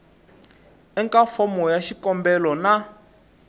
eka fomo ya xikombelo na